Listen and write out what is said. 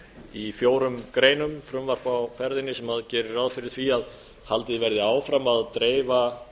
í fjórum greinum frumvarp á ferðinni sem gerir ráð fyrir því að haldið verði áfram að dreifa